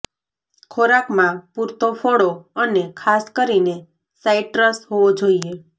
ખોરાકમાં પૂરતો ફળો અને ખાસ કરીને સાઇટ્રસ હોવો જોઈએ